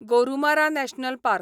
Gorumara national park